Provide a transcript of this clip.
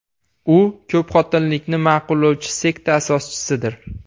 U ko‘pxotinlilikni ma’qullovchi sekta asoschisidir.